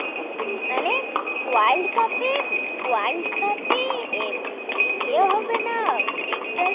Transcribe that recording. মানে world cup world cup ইয়ে হবে না extra